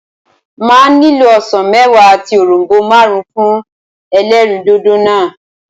Màá nílò osàn méwàá àti òronbó máàrún fún elérìndòdò náà